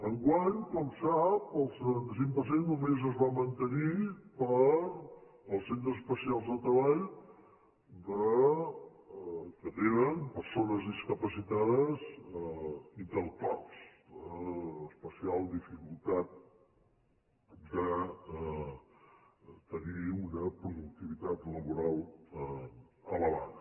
enguany com sap el setanta cinc per cent només es va mante·nir per als centres especials de treball que tenen per·sones discapacitades intel·lectuals d’especial dificultat de tenir una productivitat laboral elevada